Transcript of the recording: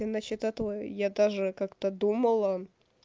и насчёт этого я даже как-то думала